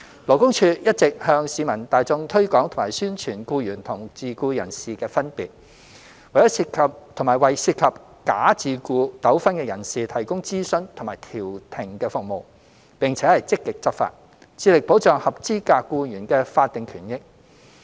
勞工處一直向市民大眾推廣及宣傳僱員與自僱人士的分別，為涉及假自僱糾紛的人士提供諮詢及調停服務，並且積極執法，致力保障合資格僱員的法定權益。